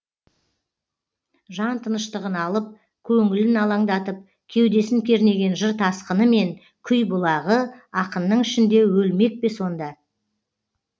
жан тыныштығын алып көңілін алаңдатып кеудесін кернеген жыр тасқыны мен күй бұлағы ақынның ішінде өлмек пе сонда